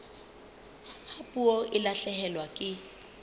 ha puo e lahlehelwa ke